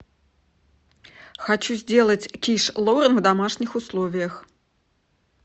хочу сделать киш лорен в домашних условиях